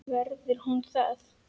Verður hún það?